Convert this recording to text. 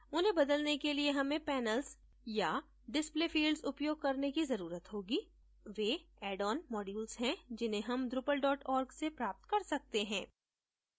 उन्हें बदलने के लिए हमें panels या display fields उपयोग करने की जरूरत होगी वे addon modules हैं जिन्हें हम drupal org से प्राप्त कर सकते हैं